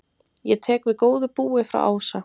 Ég tek við góðu búi frá Ása.